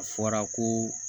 A fɔra ko